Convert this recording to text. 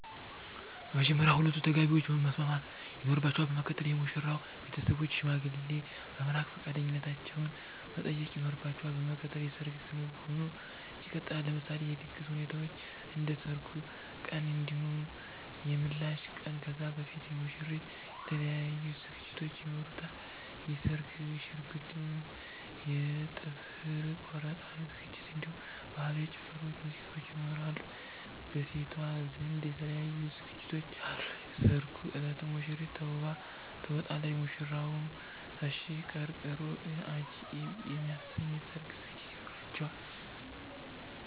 በመጀመርያ ሁለቱ ተጋቢዎች መስማማት ይኖርባቸል በመቀጠል የሙሽራዉ ቤተሰቦች ሽማግሌ በመላክ ፈቃደኛነታቸዉን መጠየቅ ይኖርባቸዋል በመቀጠል የሰርግ ክንዉኑ ይቀጥላል። ለምሳሌ የድግስ ሁኔታዎችን እንደ ሰርጉ ቀን እንዲሁም የምላሽ ቀን ከዛ በፊት የሙሽሪት የተለያዩ ዝግጅቶች ይኖሯታል የስርግ ሽርጉድ የ ጥፍር ቆረጣ ዝግጅት እንዲሁም በህላዊ ጭፈራዎች ሙዚቃዎች ይኖራሉ። በሴቷ ዘንድ የተለያዩ ዝግጅቶች አሉ የሰርጉ እለትም ሙሽሪት ተዉባ ትወጣለች። ሙሽራዉም ተሽቀርቅሮ አጃኢብ የሚያሰኝ የሰርግ ዝግጅት ይኖራቸዋል